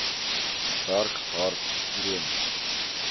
werk hard droom